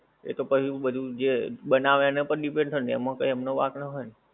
એતો પછી બધુંય જે બનાવે એના પર પણ depend થાય એમા કંઈક એમનો વાંક ના હોય ને.